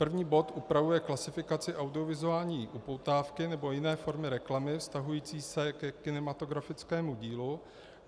První bod upravuje klasifikaci audiovizuální upoutávky nebo jiné formy reklamy vztahující se ke kinematografickému dílu.